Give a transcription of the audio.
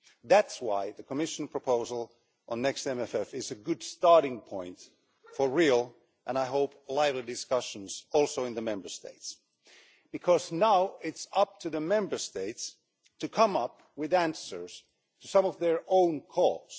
That's why the Commission proposal on the next MFF is a good starting point for real and, I hope, lively discussions also in the Member States, because now it's up to the Member States to come up with answers to some of their own causes.